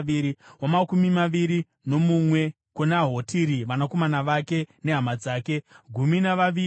wamakumi maviri nomumwe kuna Hotiri, vanakomana vake nehama dzake—gumi navaviri;